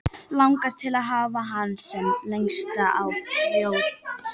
Langar til að hafa hann sem lengst á brjósti.